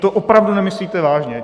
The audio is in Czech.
To opravdu nemyslíte vážně.